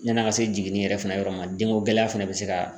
Yann'an ka se jiginni yɛrɛ fɛnɛ yɔrɔ ma denko gɛlɛya fɛnɛ bɛ se ka